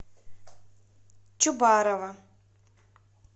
чубарова